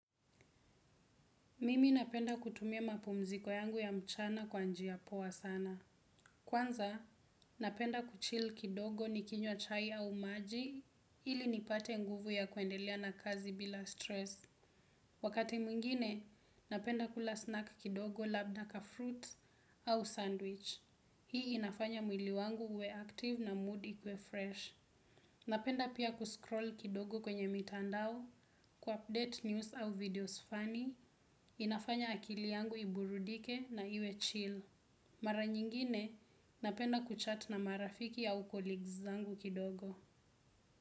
Mimi napenda kutumia mapumziko yangu ya mchana kwa njia poa sana. Kwanza napenda kuchill kidogo nikinywa chai au maji ili nipate nguvu ya kuendelea na kazi bila stress. Wakati mwingine, napenda kula snack kidogo, labdaka fruit au sandwich. Hii inafanya mwili wangu uwe active na mood ikuwe fresh. Napenda pia kuscroll kidogo kwenye mitandao, ku update news au videos funny. Inafanya akili yangu iburudike na iwe chill mara nyingine napenda kuchat na marafiki au collegues zangu kidogo.